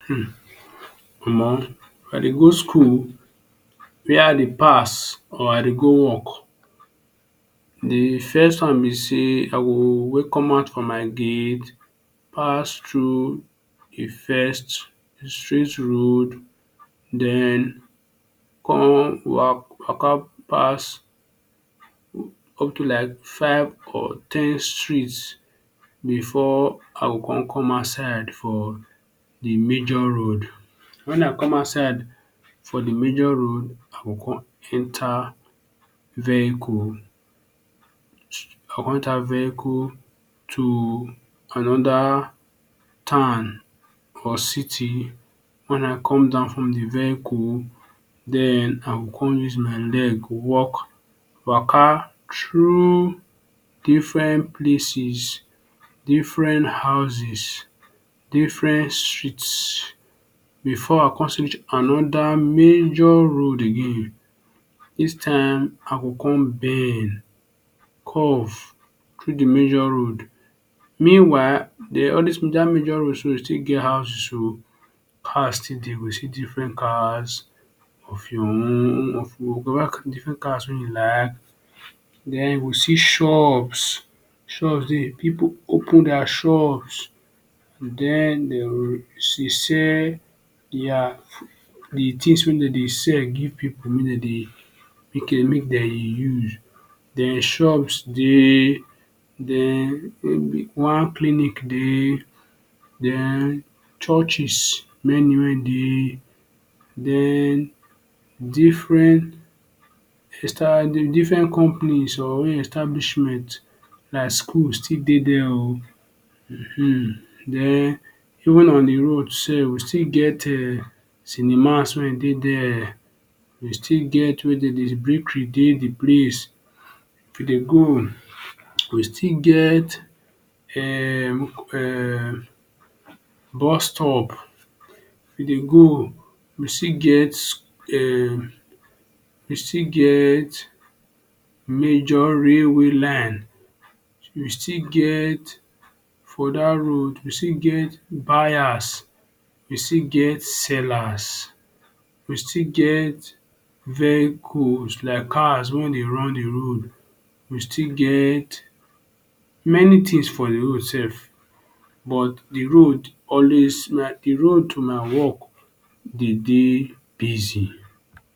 Hmm omo if I dey go school where I dey pass or I dey go work d first one b say I go wey commot from my gate pass thru d first straight road den con wa waka pass up to like five or ten streets before I go con come outside for d major road wen I come outside for d major road I go con enter vehicle I con enter vehicle to another town or city wen I come down from d vehicle den I go con use my leg walk waka thru different places different houses different streets before I go con see another major road again dis time I go con bend curve thru d major road meanwhile dey always dat major road still get houses o cars still dey u go see different cars of your own different cars wey u like den u go see shops shops dey people open their shop dem dey go sell d things wey dem d sell give people make dem use den shops dey den one clinic dey den churches many wey dey den different companies or establishment like school still dey dere o um den even on d road sef we still get cinemas wey dey dere we still get wey bakery dey d place if we dey go we still get um bustop if we dey go we still get um we still get major railway line we still get for dat road we still get buyers we still get seller we still get vehicles like cars wey we dey run d road we still get many things for d road sef but d road always de road to my work dey dey busy.